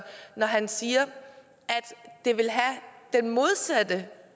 når han siger at det vil have den modsatte